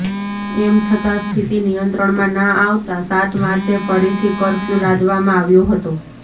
એમ છતાં સ્થિતિ નિયંત્રણમાં ના આવતાં સાત માર્ચે ફરીથી કર્ફ્યૂ લાદવામાં આવ્યો હતો